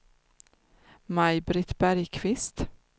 Maj-Britt Bergkvist